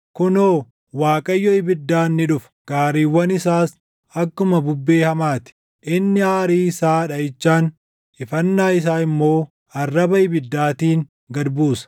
Kunoo, Waaqayyo ibiddaan ni dhufa; gaariiwwan isaas akkuma bubbee hamaa ti; inni aarii isaa dhaʼichaan, ifannaa isaa immoo arraba ibiddaatiin gad buusa.